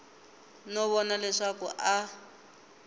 no vona leswaku a a